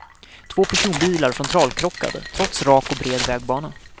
Två personbilar frontalkrockade, trots rak och bred vägbana.